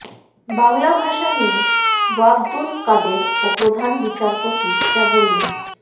বাংলা ভাষা নিয়ে ওবায়দুল কাদের ও প্রধান বিচারপতি যা বললেন